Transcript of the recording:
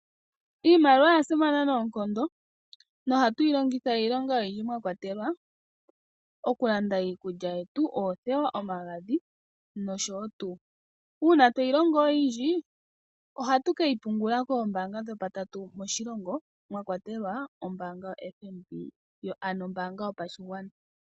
Iimaliwa oya simana noonkondo nohatu yi longitha iilonga oyindji mwa kwatelwa okulanda iikulya yetu ,oothewa omagadhi noshowo tuu ,uuna tweyi longo oyindji ohatu keyi pungula koombaanga dhopatatu moshilongo mwa kwatelwa ombaanga yoFNB ano ombaanga yopashigwana.